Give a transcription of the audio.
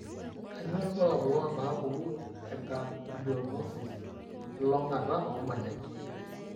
Kainyio irbulabul onaapuku eAganglionosis, elulung'ata oomonyit?